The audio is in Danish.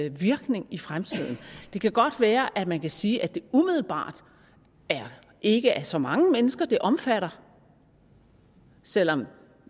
en virkning i fremtiden det kan godt være at man kan sige at det umiddelbart ikke er så mange mennesker det omfatter selv om